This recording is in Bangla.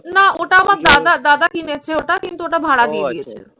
না ওটা আমার দাদার। দাদা কিনেছে ওটা। কিন্তু ওটা ভাড়া দিয়ে দিয়েছে।